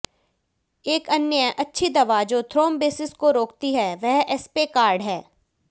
एक अन्य अच्छी दवा जो थ्रोम्बिसिस को रोकती है वह एस्पेकार्ड है